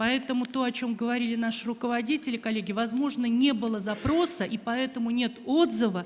поэтому то о чем говорили наши руководители коллеги возможно не было запроса и поэтому нет отзыва